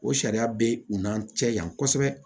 O sariya bɛ u n'an cɛ yan kosɛbɛ